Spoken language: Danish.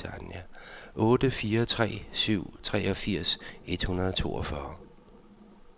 otte fire tre syv treogfirs et hundrede og toogfyrre